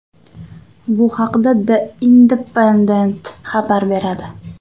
Bu haqda The Independent xabar beradi.